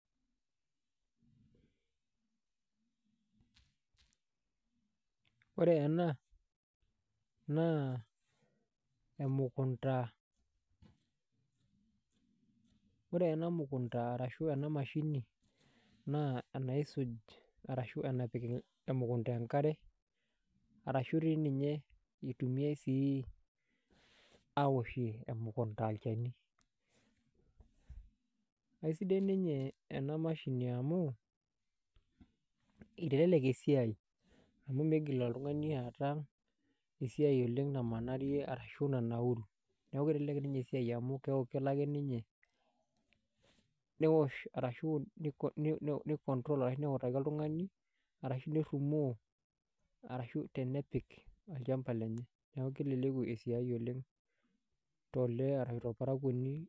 Ore ena naa emukunta, ore ena mukunta arashu ena mashini naa enaisuj arashu enapik emukunta enkare arashu dii ninye itumiae sii awoshie emukunta olchani. Ai sidai ninye ena mashini amu itelelek esiai amu miigil oltung'ani aata esiai oleng namanaarie ashu nanauru. Neeku itelelek esiai amu keeku kelo ake ninye newosh arashu ni control ake neutaki oltung'ani arashu nerumoo arashu tenepik olchamba lenye. Neeku keleleku esiai oleng to lee arashu torparakwoni